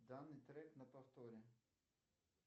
данный трек на повторе